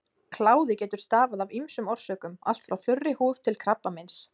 Kláði getur stafað af ýmsum orsökum, allt frá þurri húð til krabbameins.